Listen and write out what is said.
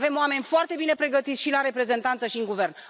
Avem oameni foarte bine pregătiți, și la Reprezentanță, și în Guvern.